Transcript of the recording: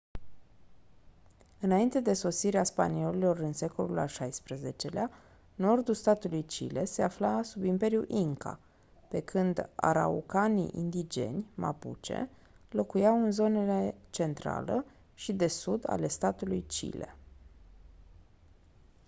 înainte de sosirea spaniolilor în secolul al xvi-lea nordul statului chile se afla sub imperiul inca pe când araucanii indigeni mapuche locuiau în zonele centrală și de sud ale statului chile